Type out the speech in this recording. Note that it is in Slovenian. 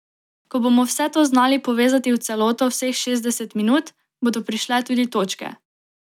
Ko bomo vse to znali povezati v celoto vseh šestdeset minut, bodo prišle tudi točke.